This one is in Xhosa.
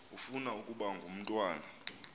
ufuna ukaba ngumntwana